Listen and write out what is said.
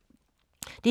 DR2